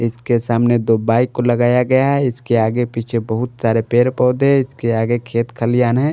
इसके सामने दो बाइक को लगाया गया है इसके आगे पीछे बहुत सारे पेड़ पौधे इसके आगे खेत खलियान है।